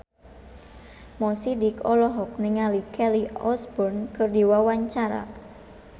Mo Sidik olohok ningali Kelly Osbourne keur diwawancara